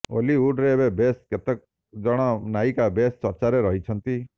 ଓଲିଉଡ଼ରେ ଏବେ ବେଶ୍ କେତେ ଜଣ ନାୟିକା ବେଶ୍ ଚର୍ଚ୍ଚାରେ ରହିଛନ୍ତି